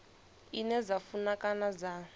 ine dza funa kana dza